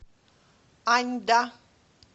аньда